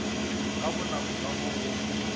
ka bonako ka mo go